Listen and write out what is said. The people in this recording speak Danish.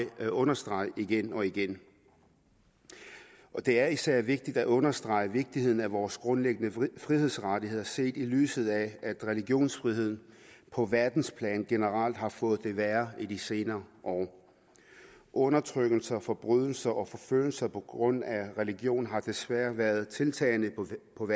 understrege igen og igen det er især vigtigt at understrege vigtigheden af vores grundlæggende frihedsrettigheder set i lyset af at religionsfriheden på verdensplan generelt har fået det værre i de senere år undertrykkelse forbrydelser og forfølgelser på grund af religion har desværre været tiltagende på